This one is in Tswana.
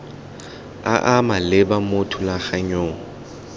a a maleba mo thulaganyong